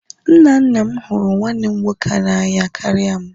Nna nna m hụrụ nwanne m nwoke n'anya karịa m.